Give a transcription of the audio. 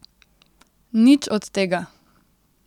Nič od tega!